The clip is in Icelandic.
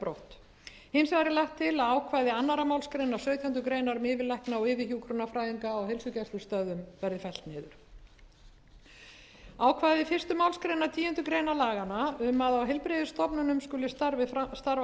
brott hins vegar er lagt til að ákvæði annarrar málsgreinar sautjándu grein um yfirlækna og yfirhjúkrunarfræðinga á heilsugæslustöðvum verði fellt niður ákvæði fyrstu málsgreinar tíundu grein laganna um að á heilbrigðisstofnunum skuli starfa